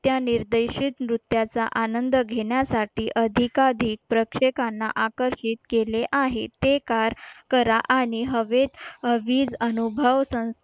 त्या निर्देशित नृत्याचा आनंद घेण्यासाठी अधिकाधिक प्रेक्षकांना आकर्षित केले आहे ते कार करा आणि हवेत वीच अनुभव संस्थेने